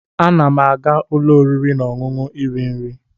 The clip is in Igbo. Ana m aga ụlọ oriri na ọṅụṅụ iri nri.